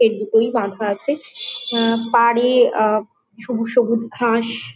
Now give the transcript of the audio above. এই দুটোই বাধা আছে। এ পারে আ সবুজ সবুজ ঘাস--